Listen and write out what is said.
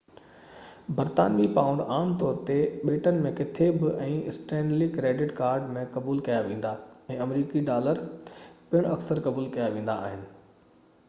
برطانوي پائونڊ عام طور تي ٻيٽن ۾ ڪٿي به ۽ اسٽينلي ڪريڊٽ ڪارڊ ۾ قبول ڪيا ويندا ۽ آمريڪي ڊالر پڻ اڪثر قبول ڪيا ويندا آهن